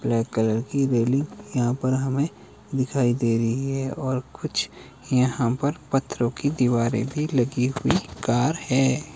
Black colour की railing यहां पर हमें दिखाई दे रही है और कुछ यहां पर पत्थरों की दीवारें भी लगी हुई कार है।